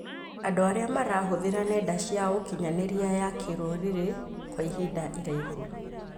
Andũ arĩa marahũthĩra nenda cia ũkinyanĩria ya kĩrũrĩrĩ kwa ihinda iraihu